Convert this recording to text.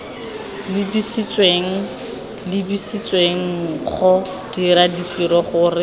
lebisitsweng lebisitswenggo dira ditiro gore